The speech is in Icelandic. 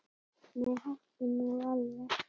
Nei, hættu nú alveg!